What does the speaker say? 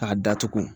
K'a datugu